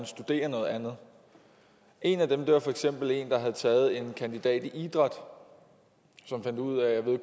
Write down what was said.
studere noget andet en af dem havde for eksempel taget en kandidat i idræt og fandt ud af at